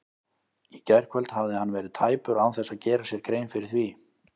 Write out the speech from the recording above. Í gærkvöld hafði hann verið tæpur án þess að gera sér grein fyrir því.